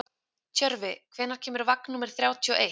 Tjörfi, hvenær kemur vagn númer þrjátíu og eitt?